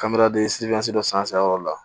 Kabereden siri dɔ san yɔrɔ la